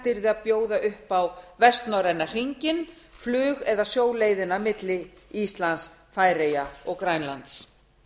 yrði að bjóða upp á vestnorræna hringinn flug eða sjóleiðina milli íslands færeyja og grænlands